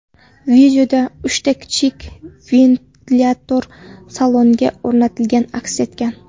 Videoda uchta kichik ventilyator salonga o‘rnatilgani aks etgan.